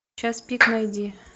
час пик найди